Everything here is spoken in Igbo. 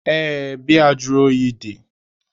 Ee, biya juru oyi dị ya.